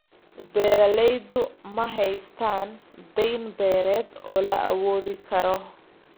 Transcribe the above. Beeraleydu ma haystaan ??dayn beereed oo la awoodi karo.